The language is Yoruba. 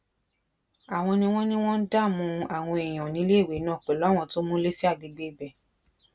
àwọn ni wọn ní wọn ń dààmú àwọn èèyàn níléèwé náà pẹlú àwọn tó múlé sí àgbègbè ibẹ